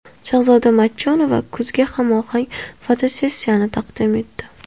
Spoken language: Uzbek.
Shahzoda Matchonova kuzga hamohang fotosessiyani taqdim etdi .